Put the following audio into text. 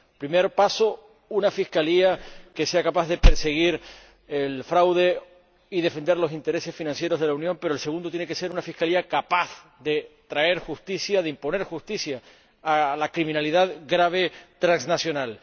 El primer paso es una Fiscalía que sea capaz de perseguir el fraude y defender los intereses financieros de la Unión, pero el segundo tiene que ser una Fiscalía capaz de traer justicia, de imponer justicia ante la criminalidad grave transnacional.